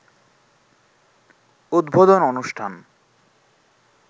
উদ্বোধন অনুষ্ঠান